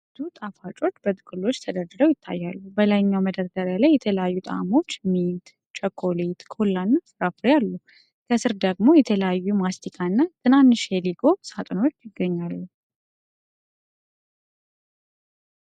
ብዙ Mentos ጣፋጮች በጥቅሎች ተደርድረው ይታያሉ። በላይኛው መደርደሪያ ላይ የተለያዩ ጣዕሞች (ሚንት፣ ቸኮሌት፣ ኮላ እና ፍራፍሬ) አሉ። ከሥር ደግሞ የተለያዩ Mentos ማስቲካ እና ትናንሽ የሌጎ ሳጥኖች ይገኛሉ።